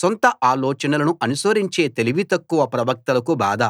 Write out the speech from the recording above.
సొంత ఆలోచనలను అనుసరించే తెలివి తక్కువ ప్రవక్తలకు బాధ